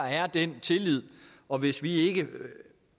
er den tillid og hvis vi ikke